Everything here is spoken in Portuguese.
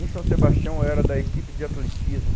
Em São Sebastião, eu era da equipe de atletismo.